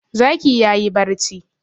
Zaki ya yi barci.